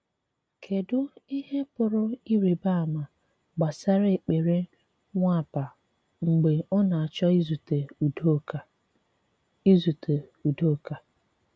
Kédù ihe pụrụ ịrị̀ba àma gbasara èkpere Nwàpà mgbe ọ na-achọ ìzùte Udoka? ìzùte Udoka?